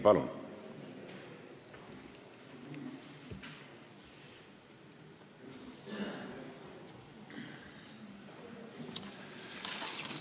Palun!